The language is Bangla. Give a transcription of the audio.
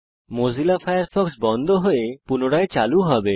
মোজিলা ফায়ারফক্স বন্ধ হয়ে পুনরায় চালু হবে